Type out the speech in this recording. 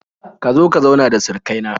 Ka zo ka zauna da surukai na